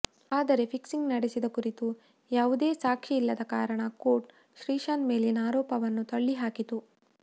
ಆದರೆ ಫಿಕ್ಸಿಂಗ್ ನಡೆಸಿದ ಕುರಿತು ಯಾವುದೇ ಸಾಕ್ಷಿ ಇಲ್ಲದ ಕಾರಣ ಕೋರ್ಟ್ ಶ್ರೀಶಾಂತ್ ಮೇಲಿನ ಆರೋಪಗಳನ್ನು ತಳ್ಳಿಹಾಕಿತು